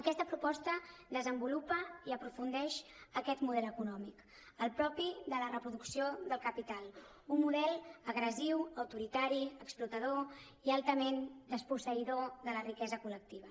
aquesta proposta desenvolupa i aprofundeix aquest model econòmic el propi de la reproducció del capital un model agressiu autoritari ex·plotador i altament desposseïdor de la riquesa col·lectiva